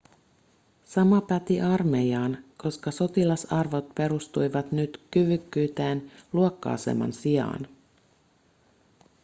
sama päti armeijaan koska sotilasarvot perustuivat nyt kyvykkyyteen luokka-aseman sijaan